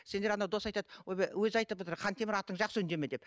сендер ана дос айтады өзі айтып отыр хантемір атың жақсы үндеме деп